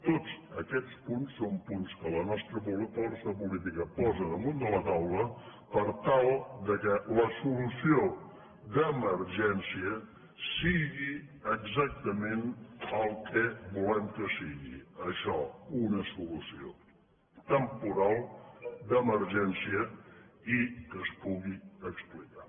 tots aquests punts són punts que la nostra força política posa damunt de la taula per tal que la solució d’emergència sigui exactament el que volem que sigui això una solució temporal d’emergència i que es pugui explicar